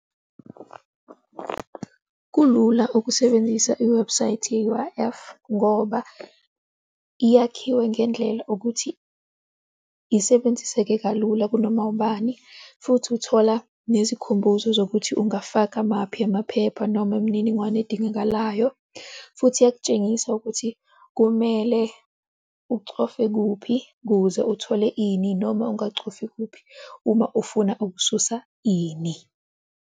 Kulula ukusebenzisa iwebhusayithi ye-U_I_F ngoba iyakhiwe ngendlela ukuthi isebenziseke kalula kunoma ubani futhi uthola nezikhumbuzo zokuthi ungafaka maphi amaphepha noma imininingwane edingakalayo futhi iyokutshengisa ukuthi kumele ucofe kuphi kuze uthole ini, noma ungacofi kuphi uma ufuna ukususa ini.